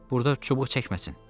Burda çubuq çəkməsin.